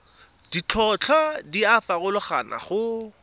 ditlhotlhwa di a farologana go